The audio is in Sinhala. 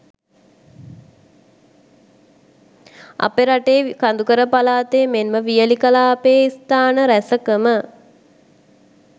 අපේ රටේ කඳුකර පළාත් මෙන් ම වියළි කලාපයේ ස්ථාන රැසක ම